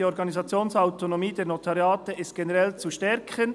«Die Organisationsautonomie der Notariate ist generell zu stärken.